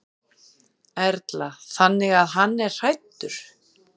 Erla: Þannig að hann er hræddur?